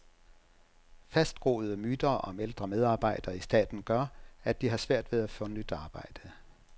Fastgroede myter om ældre medarbejdere i staten gør, at de har svært ved at få nyt arbejde.